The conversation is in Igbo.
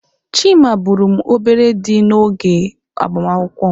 Chima bụụrụ m obere dim n'oge agbamakwụkwọ m.